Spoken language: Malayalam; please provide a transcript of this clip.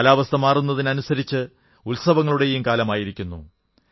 കാലാവസ്ഥ മാറുന്നതിനനുസരിച്ച് ഉത്സവങ്ങളുടെയും കാലമായിരിക്കുന്നു